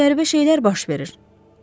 Nəsə qəribə şeylər baş verir.